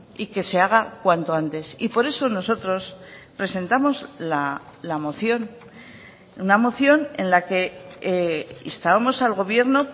y que se haga cuanto antes y por eso nosotros presentamos la moción una moción en la que instábamos al gobierno